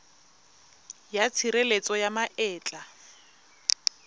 ya tshireletso ya ma etla